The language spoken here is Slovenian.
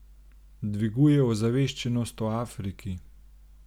Dviguje ozaveščenost o Afriki.